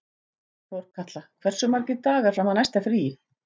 Þorkatla, hversu margir dagar fram að næsta fríi?